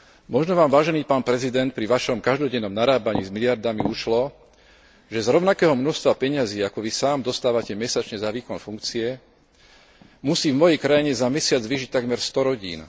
Možno Vám, vážený pán prezident, pri Vašom každodennom narábaní s miliardami ušlo, že z rovnakého množstva peňazí, ako Vy sám dostávate mesačne za výkon funkcie, musí v mojej krajine za mesiac vyžiť takmer sto rodín.